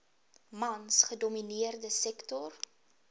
mans gedomineerde sektor